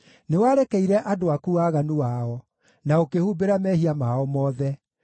Nĩwarekeire andũ aku waganu wao, na ũkĩhumbĩra mehia mao mothe.